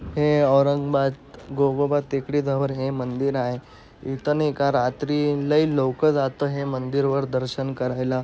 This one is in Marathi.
हे औरंगाबाद गोवोबा टेकड़ी जवळ हे मंदिर आहे. इथं न रात्री लई लोकं जातो हे मंदिरवर दर्शन करायला.